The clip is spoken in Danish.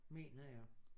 Mener jeg